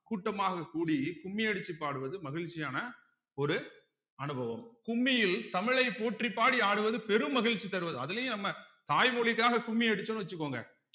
அரிஞ்சொல் பொருள் கேட்டாங்கன்னா பாடல் வரி கேட்டாங்கன்னா என்னன்னு பாத்துக்கோங்க so பெரும்பாலும் என்ன கேட்பாங்கன்னா இத கேட்பாங்க தமிழ் எங்கள் உயிருக்கு நேரானது விளைவுக்கு நீரு வாழ்வுக்கு அப்படின்னு போட்டு option கொடுப்போம்